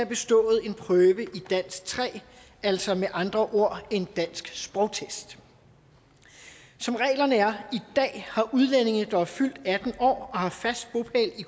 bestået en prøve i dansk tre altså med andre ord en dansk sprogtest som reglerne er i dag har udlændinge der er fyldt atten år og har fast bopæl i